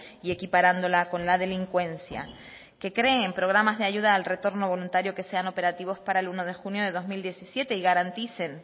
y equiparándola con la delincuencia que creen programas de ayuda al retorno voluntario que sean operativos para el uno de junio de dos mil diecisiete y garanticen